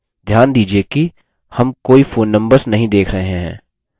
ध्यान दीजिये कि हम कोई phone numbers नहीं देख रहे हैं